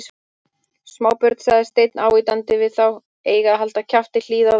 Smábörn sagði Stein ávítandi við þá, eiga að halda kjafti, hlýða og vera góð